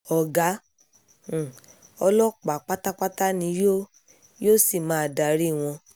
ọ̀gá um ọlọ́pàá pátápátá ni yóò yóò sì máa darí wọn